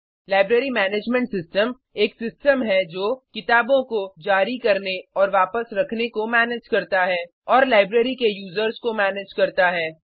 library management system एक system है जो किताबों को जारी करने और वापस रखने को मैनेज करता है और लाइब्रेरी के यूज़र्स को मैनेज करता है